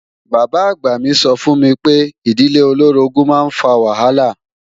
Bàbá-àgbà mi sọ fún mi pé ìdílé olóorogún máa ń fa wàhálà